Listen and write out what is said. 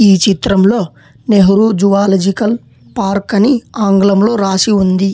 ఈ చిత్రంలో Nehru zoological park అని ఆంగ్లంలో రాసి ఉంది.